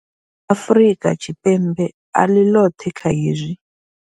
Afrika Tshipembe a ḽi ḽoṱhe kha hezwi.